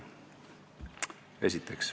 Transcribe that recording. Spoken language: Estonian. Esimene küsimuste plokk.